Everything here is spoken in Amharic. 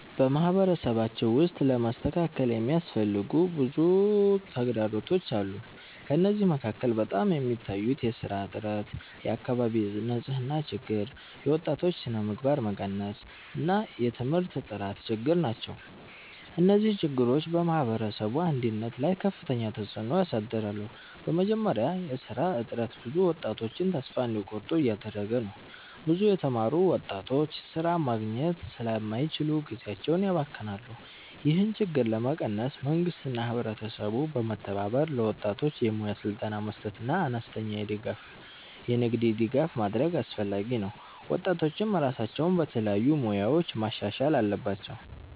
በማህበረሰባችን ውስጥ ለመስተካከል የሚያስፈልጉ ብዙ ተግዳሮቶች አሉ። ከእነዚህ መካከል በጣም የሚታዩት የሥራ እጥረት፣ የአካባቢ ንፅህና ችግር፣ የወጣቶች ስነምግባር መቀነስ እና የትምህርት ጥራት ችግር ናቸው። እነዚህ ችግሮች በማህበረሰቡ እድገት ላይ ከፍተኛ ተፅዕኖ ያሳድራሉ። በመጀመሪያ የሥራ እጥረት ብዙ ወጣቶችን ተስፋ እንዲቆርጡ እያደረገ ነው። ብዙ የተማሩ ወጣቶች ሥራ ማግኘት ስለማይችሉ ጊዜያቸውን ያባክናሉ። ይህን ችግር ለመቀነስ መንግስትና ህብረተሰቡ በመተባበር ለወጣቶች የሙያ ስልጠና መስጠትና አነስተኛ የንግድ ድጋፍ ማድረግ አስፈላጊ ነው። ወጣቶችም ራሳቸውን በተለያዩ ሙያዎች ማሻሻል አለባቸው።